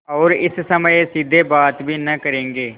और इस समय सीधे बात भी न करेंगे